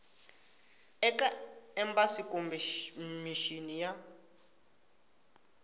eka embasi kumbe mixini ya